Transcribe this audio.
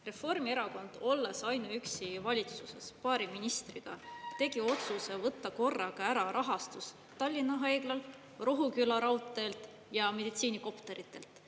Reformierakond, olles ainuüksi valitsuses, paari ministriga tegi otsuse võtta korraga ära rahastus Tallinn haiglalt, Rohuküla raudteelt ja meditsiinikopteritelt.